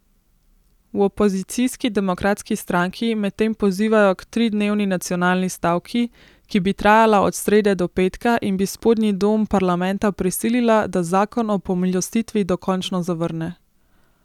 V opozicijski demokratski stranki medtem pozivajo k tridnevni nacionalni stavki, ki bi trajala od srede do petka in bi spodnji dom parlamenta prisilila, da zakon o pomilostitvi dokončno zavrne.